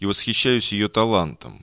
и восхищаюсь её талантом